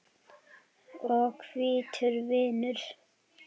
og hvítur vinnur.